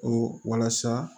O walasa